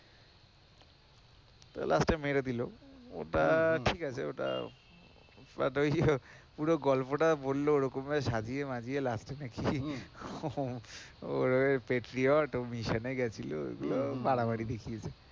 তো last এ মেরে দিল ওটা ঠিক আছে ওটা, পুরো গল্পটা বলল ওরকম ভাবে বললো সাজিয়ে মাজিয়ে last নাকি ও patriot ও mission এ গিয়েছিল ওগুলো বাড়াবাড়ি দেখিয়েছে।